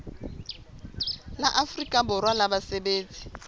la afrika borwa la basebetsi